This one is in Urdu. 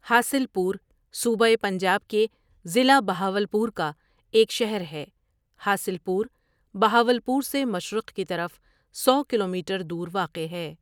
حاصل پور، صوبہ پنجاب کے ضلع بہاولپور کا ایک شہر ہے حاصل پور، بہاولپور سے مشرق کی طرف سو کلومیٹر دور واقع ہے۔